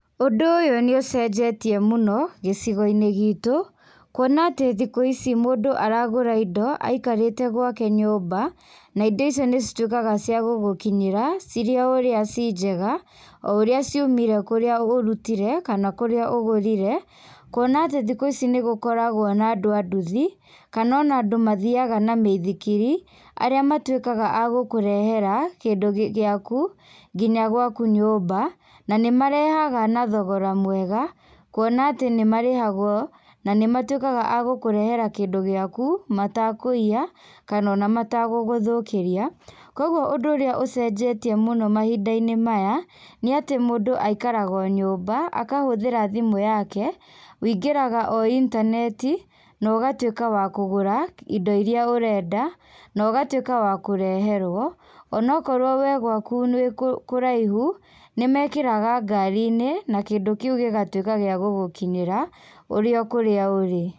Ũndũ ũyũ nĩũcenjetie mũno, gĩcigo-inĩ gitũ, kuona atĩ mũndũ aragũra indo, aikarĩte gwake nyũmba, na indo icio nĩcitwĩkaga ciakũmũkinyĩra, cirĩ o ũrĩa cii njega, oũrĩa ciumire kũrĩa ũrutire, kana kũrĩa ũgũrire, kuona atĩ thikũ ici nĩgũkoragwo na andũ a nduthi, kana ona andũ mathiaga na mĩithikiri, arĩa matwĩkaga a gũkũrehera, kĩndũ gĩ gĩaku, nginya gwaku nyũmba, na nímarehaga na thogora mwega, kuona atĩ nĩmarĩhagwo, na nĩmatwĩkaga a gũkũrehera kĩndũ gĩaku, matakũiya, kana ona matagũgũthũkĩria, koguo ũndũ ũrĩa ũcenjetie mahinda-inĩ maya, nĩ atĩ mũndũ aikarag o nyũmba, akahũthĩra thimũ yake, wũingĩraga o intaneti, nogatwĩka wa kũgũra kĩ indo iria ũrenda, nogatwĩka wa kũreherwo, onakorwo we gwaku nĩ wĩkũ kũraihu, nĩmekĩraga ngari-inĩ, na kĩndũ kĩu gígatwĩka gĩa gũgũkinyĩra, ũrĩ o kũrĩa ũrĩ.